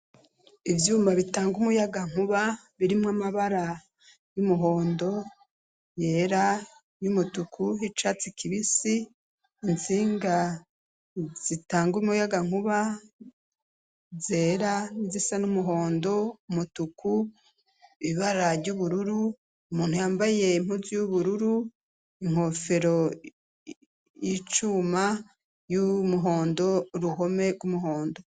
Ivyuma bitanga umuyagankuba, birimwo amabara y'umuhondo, yera, y'umutuku y'icatsi kibisi, intsinga zitanga umuyaga nkuba zera, n'izisa n'umuhondo ,umutuku, ibara ry'ubururu, umuntu yambaye impuzu y'ubururu , inkofero y'icuma y'umuhondo, uruhome rw'umuhondo.